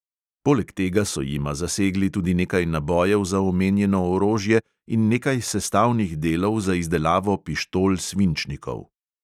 Poleg tega so jima zasegli tudi nekaj nabojev za omenjeno orožje in nekaj sestavnih delov za izdelavo pištol svinčnikov.